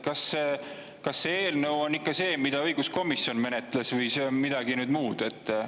Kas see eelnõu on ikka see, mida õiguskomisjon menetles, või on see midagi muud?